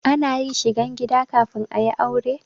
Ana yin shigan gida kafin a yi aure.